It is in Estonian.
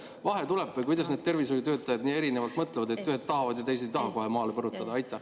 Kust see vahe tuleb või kuidas need tervishoiutöötajad nii erinevalt mõtlevad, et ühed tahavad ja teised ei taha kohe maale põrutada?